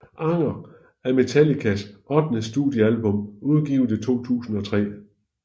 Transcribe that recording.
Anger er Metallicas ottende studiealbum udgivet i 2003